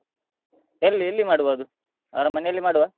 ಎಲ್ಲಿ ಎಲ್ಲಿ ಮಾಡುಬೋದು ಅವರ ಮನೆಯಲ್ಲಿ ಮಾಡುವ?